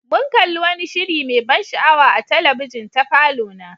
Mun kalli wani shiri mai ban sha'awa a talabijin ta falona.